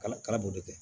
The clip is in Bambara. Ala kala b'o de kɛ